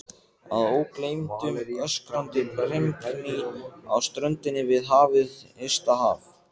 Að ógleymdum öskrandi brimgný á ströndinni við hið ysta haf.